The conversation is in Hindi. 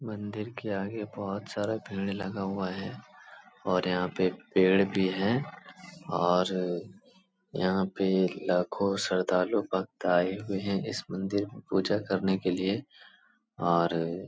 मंदिर के आगे बहुत सारा भीड़ लगा हुआ है और यहाँ पे पेड़ भी है और यहाँ पे लाखोँ श्रद्धालु भक्त आए हुए हैं इस मंदिर में पूजा करने के लिए और --